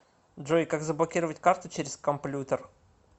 джой как заблокировать карту через комплютер